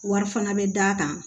Wari fana bɛ d'a kan